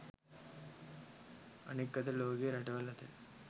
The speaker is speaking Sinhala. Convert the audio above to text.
අනෙක් අතට ලෝකයේ රටවල් අතර